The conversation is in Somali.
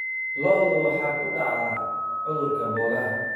Lo'da waxaa ku dhaca cudurka boogaha.